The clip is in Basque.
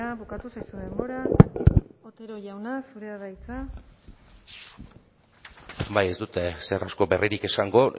bukatu zaizu denbora otero jauna zurea da hitza bai ez dut ezer asko berririk esango